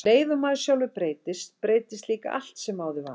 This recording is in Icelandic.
Og um leið og maður sjálfur breytist, breytist líka allt sem áður var.